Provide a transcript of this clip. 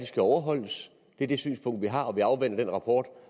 skal overholdes det er det synspunkt vi har og vi afventer den rapport